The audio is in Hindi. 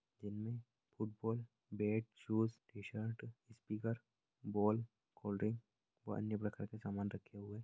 इनमे football bat shoes T shirt speaker ball cold drink और अन्य प्रकार के सामान रखे हुए --